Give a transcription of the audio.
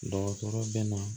Dɔgɔtɔrɔ bɛ na